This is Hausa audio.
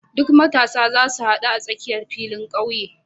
Duk matasan zasu hadu a tsakiyar filin ƙauye.